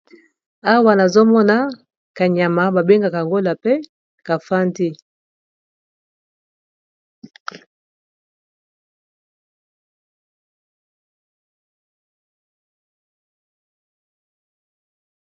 Awa nazomona kanyama babengaka yango lapin ka fandi.